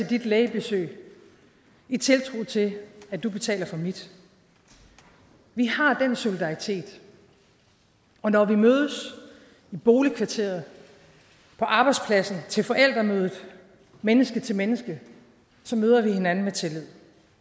dit lægebesøg i tiltro til at du betaler for mit vi har den solidaritet og når vi mødes i boligkvarteret på arbejdspladsen til forældremødet menneske til menneske så møder vi hinanden med tillid